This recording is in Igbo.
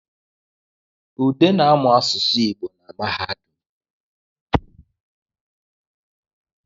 Ude na-amụ aụsụ Igbo na mahadum